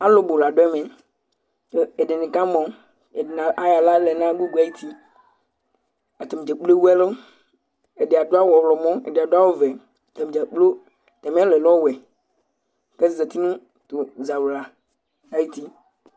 Alʋbʋ la dʋ ɛmɛ kʋ ɛdɩnɩ kamɔ Ɛdɩnɩ ayɔ aɣla lɛ nʋ agʋgʋ ayuti Atanɩ dza kplo ewu ɛlʋ Ɛdɩ adʋ awʋ ɔɣlɔmɔ, ɛdɩ adʋ awʋvɛ Atanɩ dza kplo atamɩ ɛlʋ yɛ lɛ ɔwɛ kʋ azati nʋ tʋ zawla ayuti